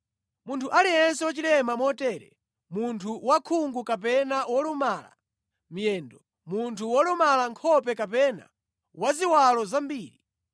Munthu aliyense wachilema motere: munthu wakhungu kapena wolumala miyendo, munthu wolumala nkhope kapena waziwalo zambiri,